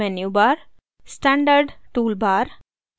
menu bar standard tool bar